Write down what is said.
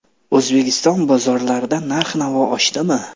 O‘zbekiston bozorlarida narx-navo oshdimi?.